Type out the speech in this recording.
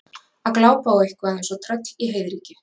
Að glápa á eitthvað eins og tröll í heiðríkju